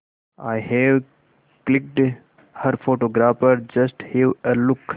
I have clicked her photographer just have a look